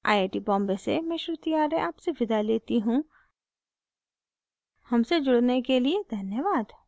iit iit T Bombay से मैं श्रुति आर्य आपसे विदा लेती हूँ हमसे जुड़ने के लिए धन्यवाद